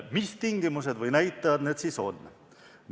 Mis tingimused või näitajad need siis on?